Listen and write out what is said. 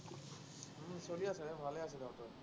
চলি আছে, ভালে আছে তাহাঁতৰ।